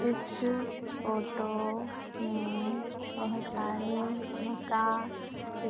इस फोटो में बहोत सारे मक्का के